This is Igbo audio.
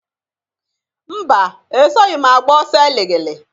Mba! Esoghi m agba ọsọ eligili.